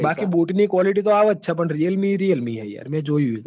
બાકી બોટ ની qualite તો આવજ હ પણ realme એ realme જ છ યાર એતો જોઈ